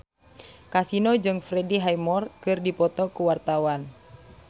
Kasino jeung Freddie Highmore keur dipoto ku wartawan